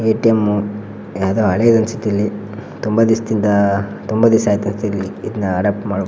ATM ಯಾವುದೊ ಹಳೇದು ಅನ್ಸುತ್ತೆ ಇಲ್ಲಿ ತುಂಬಾ ದಿವಸದಿಂದ ತುಂಬಾ ದಿವಸ ಆಯಿತು ಇಲ್ಲಿ ಇದನ್ನ ಅಡಾಪ್ಟ್ ಮಾಡಿ ಬಿಟ್ಟು.